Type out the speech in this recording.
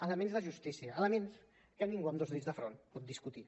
elements de justícia elements que ningú amb dos dits de front pot discutir